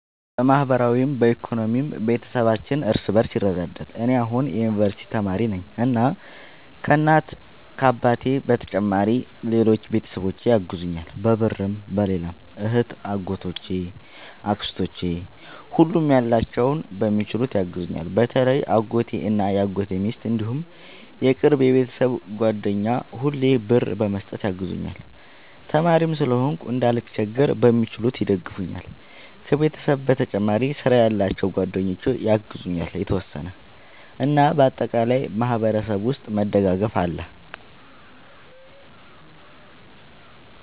በማህበራዊም በኢኮኖሚም ቤተሰባችን እርስ በርስ ይረዳዳል። እኔ አሁን የዩንቨርስቲ ተማሪ ነኝ እና ከ እናት አባቴ በተጨማሪ ሌሎች ቤተሰቦቼ ያግዙኛል በብርም በሌላም እህቴ አጎቶቼ አክስቶቼ ሁሉም ያላቸውን በሚችሉት ያግዙኛል። በተለይ አጎቴ እና የአጎቴ ሚስት እንዲሁም የቅርብ የቤተሰብ ጓደኛ ሁሌ ብር በመስጠት ያግዙኛል። ተማሪም ስለሆንኩ እንዳልቸገር በሚችሉት ይደግፈኛል። ከቤተሰብ በተጨማሪ ስራ ያላቸው ጓደኞቼ ያግዙኛል የተወሰነ። እና በአጠቃላይ በእኛ ማህበረሰብ ውስጥ መደጋገፍ አለ